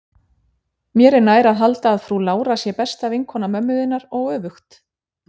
Mér er nær að halda að frú Lára sé besta vinkona mömmu þinnar og öfugt.